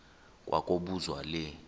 kwa kobuzwa le